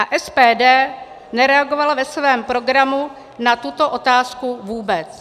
A SPD nereagovala ve svém program na tuto otázku vůbec.